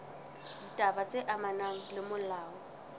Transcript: ditaba tse amanang le molao